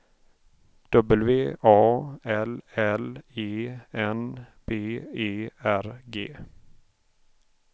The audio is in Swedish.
W A L L E N B E R G